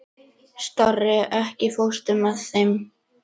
Kannski vegna þess að ég vissi ekki hver sagði.